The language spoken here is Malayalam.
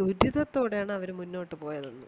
ദുരിധത്തോടെയാണ് അവര് മുന്നോട്ടു പോയതെന്ന്